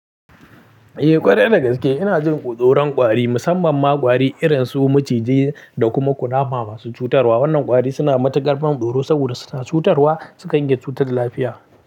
Eh ƙwarai da gaske ina jin kutsorin ƙwari, musamman ma ƙwari irin su maciji da kuma ƙunama masu cutarwa. Wannan ƙwari suna matuƙar tsoro saboda suna cutarwa sukan yi cutar lafiya.